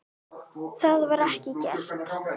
Það var ekki gert.